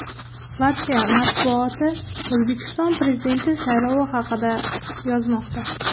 Latviya matbuoti O‘zbekiston Prezidenti saylovi haqida yozmoqda.